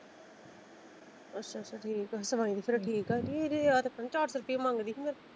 ਅੱਛਾ ਅੱਛਾ ਠੀਕ ਆ ਸਵਾਈ ਤੇ ਫਿਰ ਠੀਕ ਆ ਕੇ ਇਹ ਤੇ ਆਹ ਚਾਰ ਸੋ ਰੁਪਇਆ ਮੰਗਦੀ ਸੀ ਮੇਰੇ ਕੋ।